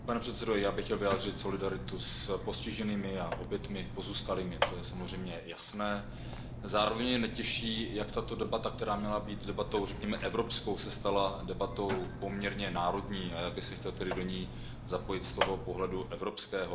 Pane předsedající, já bych chtěl vyjádřit solidaritu s postiženými, obětmi a pozůstalými. Zároveň mě netěší jak tato debata, která měla být debatou, řekněme, evropskou, se stala debatou poměrně národní a já bych se chtěl tedy do ní zapojit z toho pohledu evropského.